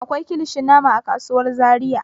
Akwai kilishin nama a kasuwar Zariya.